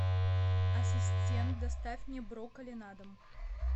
ассистент доставь мне брокколи на дом